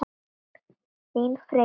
Þín Freyja.